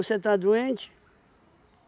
Você está doente?